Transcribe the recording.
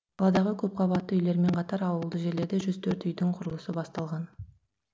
қаладағы көпқабатты үйлермен қатар ауылды жерлерде жүз төрт үйдің құрылысы басталған